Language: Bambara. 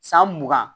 San mugan